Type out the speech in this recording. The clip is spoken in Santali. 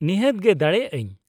-ᱱᱤᱦᱟᱹᱛ ᱜᱮ ᱫᱟᱲᱮᱭᱟᱜ ᱟᱹᱧ ᱾